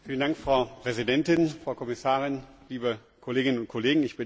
Frau Präsidentin, Frau Kommissarin, liebe Kolleginnen und Kollegen!